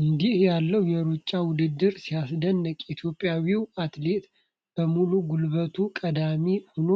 እንዲህ ያለው የሩጫ ውድድር ሲያስደንቅ! ኢትዮጵያዊው አትሌት በሙሉ ጉልበቱ ቀዳሚ ሆኖ